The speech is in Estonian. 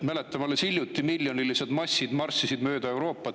Mäletame, et alles hiljuti miljonilised massid marssisid mööda Euroopat.